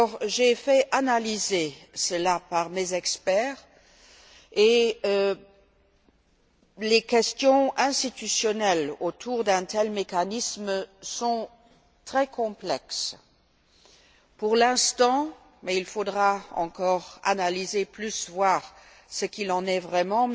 J'ai fait analyser cela par mes experts et les questions institutionnelles que pose un tel mécanisme sont très complexes. Pour l'instant, mais il faudra poursuivre l'analyse et voir ce qu'il en est vraiment,